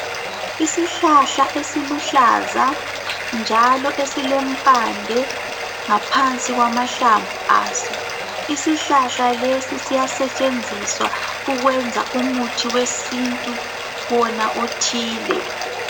Isihlahla esiluhlaza njalo esilempande ngaphansi kwamahlamvu aso. Isihlahla lesi siyasetshenziswa ukwenza umuthi wesintu wona othile.